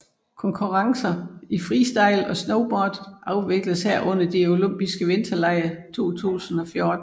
Konkurrencer i freestyle og snowboard afvikles her under de olympiske vinterlege 2014